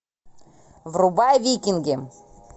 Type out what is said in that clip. врубай викинги